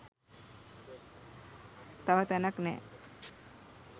තව තැනක් නැහැ.